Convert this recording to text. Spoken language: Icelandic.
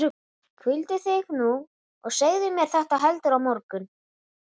Hvíldu þig nú og segðu mér þetta heldur á morgun.